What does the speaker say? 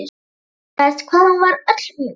Undraðist hvað hún var öll mjúk.